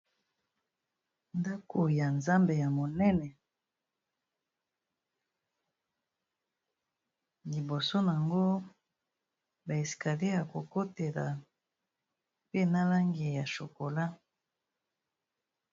Ndako ya nzambe ya monene, liboso nango ba escalier ya ko kotela pe na langi ya chocolat.